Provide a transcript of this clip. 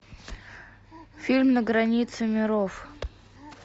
фильм на границе миров